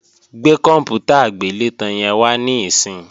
Gbé kòǹpútà agbélétan yẹn wá níìsín!